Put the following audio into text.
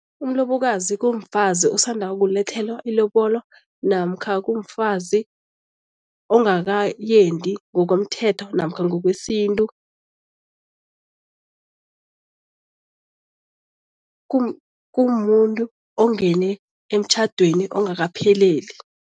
Umlobokazi kumfazi osanda ukulethelwa ilobolo namkha kumfazi ongakayendi ngokomthetho namkha ngokwesintu. Kumuntu ongene emtjhadweni ongakapheleli.